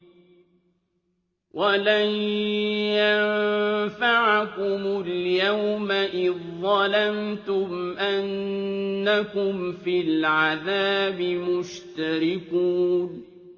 وَلَن يَنفَعَكُمُ الْيَوْمَ إِذ ظَّلَمْتُمْ أَنَّكُمْ فِي الْعَذَابِ مُشْتَرِكُونَ